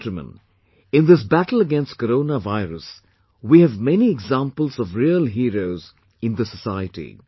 My dear countrymen, in this battle against Corona virus we have many examples of real heroes in the society